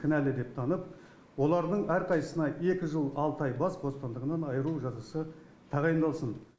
кінәлі деп танып олардың әрқайсысына екі жыл алты ай бас бостандығынан айыру жазасы тағайындалсын